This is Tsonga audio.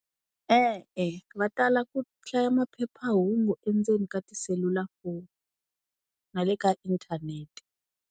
E-e va tala ku hlaya maphephahungu endzeni ka tiselulafoni na le ka inthanete.